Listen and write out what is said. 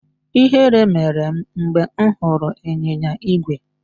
Ihere mere m mgbe m hụrụ ịnyịnya ígwè